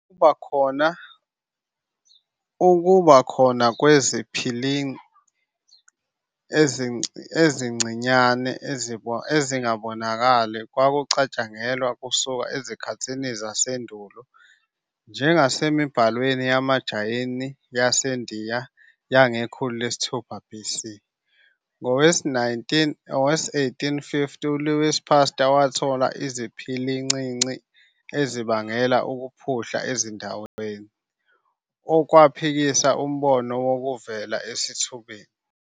Ukuba khona kweziphili ezincinyane ezingabonakali kwakucatshangelwa kusuka ezikhathini zasendulo, njengasemibhalweni yamaJayini yasendiya yangekhulu lesithupha BC. Ngowe1850, uLouis Pasteur wathola iziphilincinci ezibangela ukuphuhla ezidlweni, okwaphikisa umbono wokuvela esithubeni.